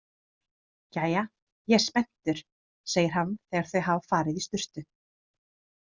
Jæja, ég er spenntur, segir hann þegar þau hafa farið í sturtu.